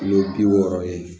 Kilo bi wɔɔrɔ ye